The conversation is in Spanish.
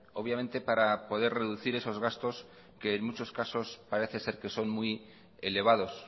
obviamente para poder reducir esos gastos que en muchos casos parece ser que son muy elevados